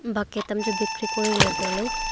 bucket am chu bikri kuriley tailey.